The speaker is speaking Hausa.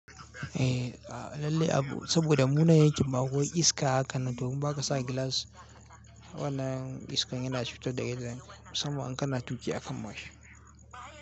Eh a lalle Abu saboda mu yanakin ba mu an iska haka nan domin baka sa gilas wannan iskan yana cutar daga zan sama an kana tuki a kan mashi.